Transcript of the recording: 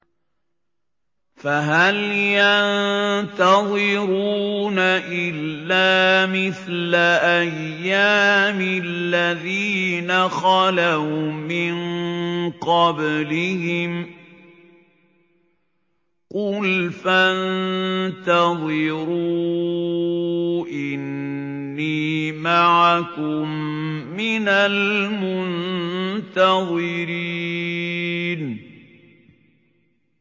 فَهَلْ يَنتَظِرُونَ إِلَّا مِثْلَ أَيَّامِ الَّذِينَ خَلَوْا مِن قَبْلِهِمْ ۚ قُلْ فَانتَظِرُوا إِنِّي مَعَكُم مِّنَ الْمُنتَظِرِينَ